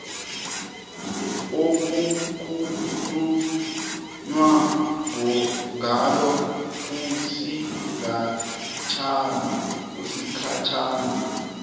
okukhulunywa ngalo kusigatshana